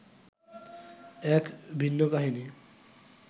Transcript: এক ভিন্ন কাহিনি